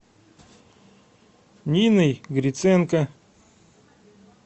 ниной гриценко